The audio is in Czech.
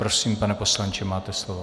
Prosím, pane poslanče, máte slovo.